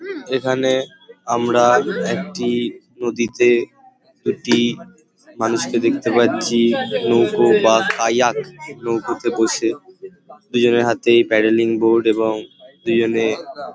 এখানে আমরা একটি নদীতে একটি মানুষকে দেখতে পাচ্ছি। নৌকো বা নৌকোতে বসে দুজনের হাতেই প্যাডেলিং বোর্ড এবং দুজনে --